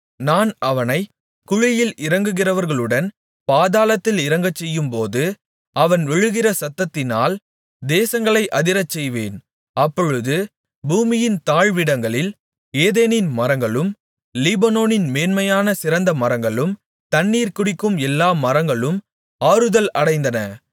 நான் அவனைக் குழியில் இறங்குகிறவர்களுடன் பாதாளத்தில் இறங்கச்செய்யும்போது அவன் விழுகிற சத்தத்தினால் தேசங்களை அதிரச்செய்வேன் அப்பொழுது பூமியின் தாழ்விடங்களில் ஏதேனின் மரங்களும் லீபனோனின் மேன்மையான சிறந்த மரங்களும் தண்ணீர் குடிக்கும் எல்லா மரங்களும் ஆறுதல் அடைந்தன